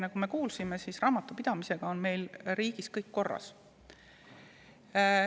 Nagu me kuulsime, on meil riigis raamatupidamisega kõik korras.